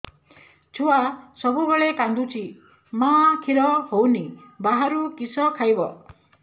ଛୁଆ ସବୁବେଳେ କାନ୍ଦୁଚି ମା ଖିର ହଉନି ବାହାରୁ କିଷ ଖାଇବ